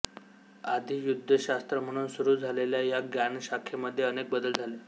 आधी युद्धशास्त्र म्हणून सुरू झालेल्या या ज्ञानशाखेमध्ये अनेक बदल झाले